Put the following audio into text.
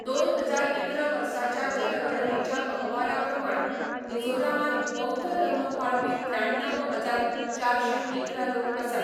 दोन हजार इकरा वर्साच्या जनगणनेच्या अहवाला प्रमाण मिझोरामांत बौध्द धर्म पाळपी त्र्याण्णव हजार चारशें इकरा लोक आसात.